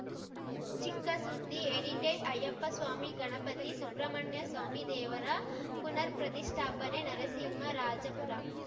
ಚಿಕ್ಕ ಸುದ್ದಿ ಎಡಿಟೆಡ್‌ ಅಯ್ಯಪ್ಪಸ್ವಾಮಿ ಗಣಪತಿ ಸುಬ್ರಮಣ್ಯಸ್ವಾಮಿ ದೇವರ ಪುನರ್‌ ಪ್ರತಿಷ್ಠಾಪನೆ ನರಸಿಂಹರಾಜಪುರ